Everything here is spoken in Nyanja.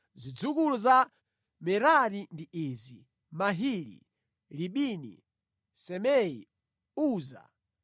Zidzukulu za Merari ndi izi: Mahili, Libini, Simei, Uza,